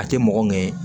A tɛ mɔgɔ ŋɛɲɛ